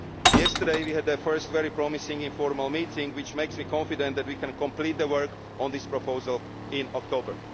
one. Yesterday we had our first very promising informal meeting, which makes me confident that we can complete the work on this proposal in October.